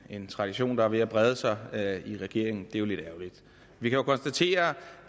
en tradition der er ved at brede sig i regeringen det er jo lidt ærgerligt vi kan konstatere